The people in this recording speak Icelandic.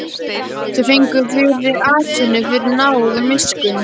Þau fengu fyrri atvinnu fyrir náð og miskunn.